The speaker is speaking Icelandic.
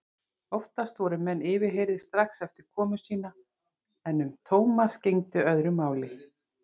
Oftast voru menn yfirheyrðir strax eftir komu sína en um Thomas gegndi öðru máli.